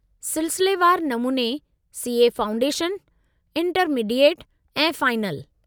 सिलसिलेवार नमूने C. A. Foundation, intermediate ऐं फ़ाइनल।